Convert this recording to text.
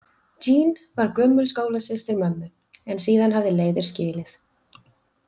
Jeanne var gömul skólasystir mömmu en síðan hafði leiðir skilið.